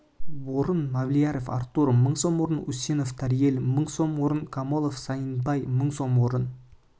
орын мавлияров артур мың сом орын усенов тариел мың сом орын камолов саиднаби мың сом орын